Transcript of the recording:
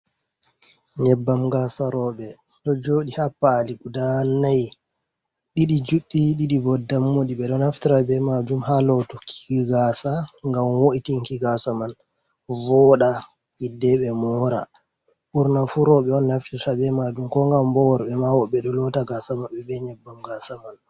Nyeɓɓam gasa roɓɓe ɗo joɗi ha pali guda nai, ɗi juɗɗi ɗiɗi bo dammuɗi ɓe ɗo naftira be majum ha lotukki gasa gam wo’itinki gasa man voɗa hidde ɓe mora. Ɓurna fu roɓɓe on naftirta be majum ko ngam bo worɓɓe ma woɓɓe ɗo lota gasa maɓɓe be nyebbam gasa man.